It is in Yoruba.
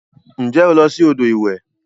Nje o lo si odo iwe?